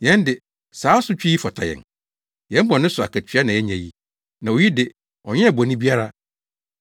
Yɛn de, saa asotwe yi fata yɛn; yɛn bɔne so akatua na yɛanya yi, na oyi de, ɔnyɛɛ bɔne biara.”